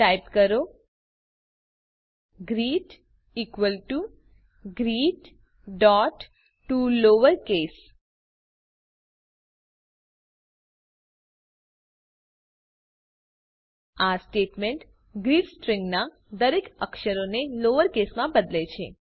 type કરો greet equal to greettoLowerCase આ statement greet સ્ટ્રીંગના દરેક અક્ષરને લોવર કેસમાં બદલે છે